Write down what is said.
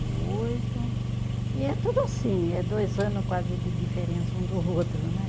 E oito, e é tudo assim, é dois anos quase de diferença um do outro, né?